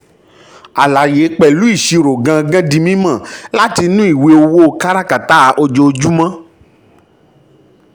àlàyé pẹ̀lú ìṣirò gangan di mímọ̀ láti inú ìwé owó káràkátà ojoojúmọ́.